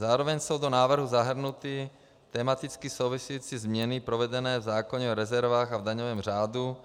Zároveň jsou do návrhu zahrnuty tematicky související změny provedené v zákoně o rezervách a v daňovém řádu,